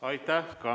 Aitäh!